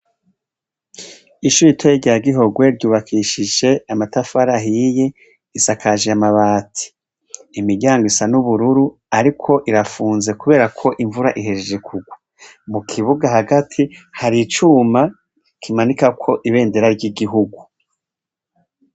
Ishure ritoya rya gihogwe rwubakishije amatafari ahiye, risakaje amabati, imiryango isa n'ubururu ,ariko rirafunze kuberako imvura ihejeje kugwa mukibuga hagati hari icuma bamanikako ibendera ry'igihugu.